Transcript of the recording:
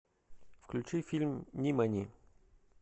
включи фильм нимани